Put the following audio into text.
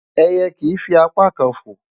Ẹyẹ kìí fi apá kan fò.